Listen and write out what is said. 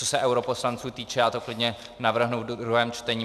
Co se europoslanců týče, já to klidně navrhnu ve druhém čtení.